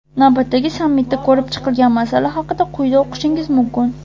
Navbatdagi sammitda ko‘rib chiqilgan masala haqida quyida o‘qishingiz mumkin.